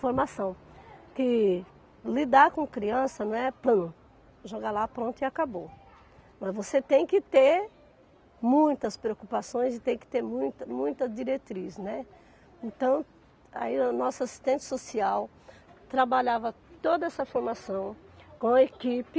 formação que lidar com criança não é pou jogar lá pronto e acabou, mas você tem que ter muitas preocupações e tem que ter muita muita diretriz né então aí o nosso assistente social trabalhava toda essa formação com a equipe